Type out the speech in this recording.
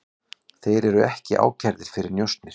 Þeir eru ekki ákærðir fyrir njósnir